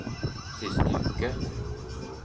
siste uke